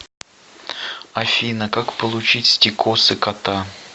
афина как получить стикосы кота